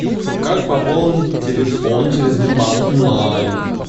как пополнить телефон через сбербанк онлайн